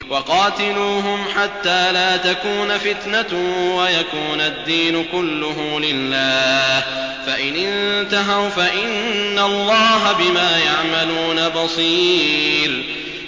وَقَاتِلُوهُمْ حَتَّىٰ لَا تَكُونَ فِتْنَةٌ وَيَكُونَ الدِّينُ كُلُّهُ لِلَّهِ ۚ فَإِنِ انتَهَوْا فَإِنَّ اللَّهَ بِمَا يَعْمَلُونَ بَصِيرٌ